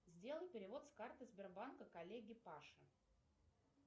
сделай перевод с карты сбербанка коллеге паше